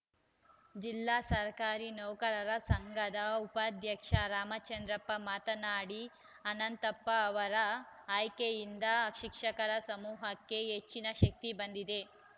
ಜಿಲ್ಲಾ ಸರ್ಕಾರಿ ನೌಕರರ ಸಂಘದ ಉಪಾಧ್ಯಕ್ಷ ರಾಮಚಂದ್ರಪ್ಪ ಮಾತನಾಡಿ ಅನಂತಪ್ಪ ಅವರ ಆಯ್ಕೆಯಿಂದ ಶಿಕ್ಷಕರ ಸಮೂಹಕ್ಕೆ ಹೆಚ್ಚಿನ ಶಕ್ತಿ ಬಂದಿದೆ